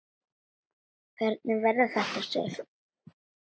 Hvernig verður þetta, Sif?